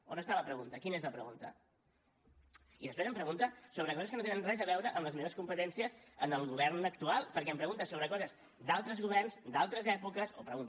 on està la pregunta quina és la pregunta i després em pregunta sobre coses que no tenen res a veure amb les meves competències en el govern actual perquè em pregunta sobre coses d’altres governs d’altres èpoques o pregunta